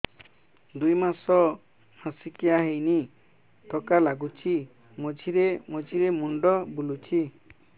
ଦୁଇ ମାସ ମାସିକିଆ ହେଇନି ଥକା ଲାଗୁଚି ମଝିରେ ମଝିରେ ମୁଣ୍ଡ ବୁଲୁଛି